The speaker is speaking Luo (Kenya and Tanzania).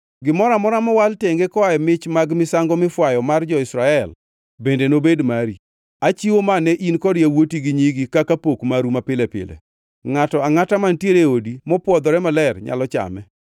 “Gimoro amora mowal tenge koa e mich mag misango mifwayo mar jo-Israel bende nobed mari. Achiwo ma ne in kod yawuoti gi nyigi kaka pok maru mapile pile. Ngʼato angʼata mantiere e odi mopwodhore maler nyalo chame.